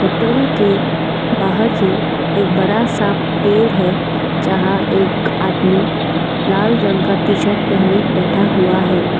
Hotel के बाहर ही एक बड़ा सा पेड़ है जहां एक आदमी लाल रंग का टीशर्ट पहने बैठा हुआ है।